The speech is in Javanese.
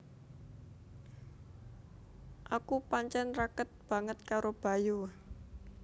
Aku pancen raket banget karo Bayu